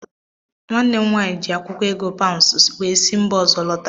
Nwanne m nwaanyị ji akwụkwọ ego paụnsụ wee si mba ọzọ lọta.